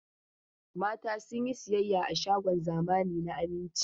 Mata sun yi sayayya a shagon zamani na Aminci.